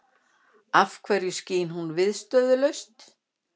Af hverju skín hún viðstöðulaust?